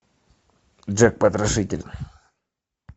джек потрошитель